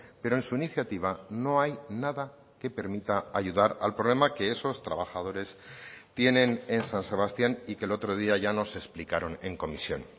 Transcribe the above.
pero en su iniciativa no hay nada que permita ayudar al problema que esos trabajadores tienen en san sebastián y que el otro día ya nos explicaron en comisión